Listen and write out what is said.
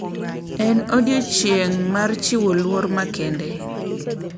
En odiechieng` mar chiwo luor makende.